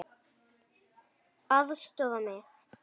LÁRUS: Aðstoða mig!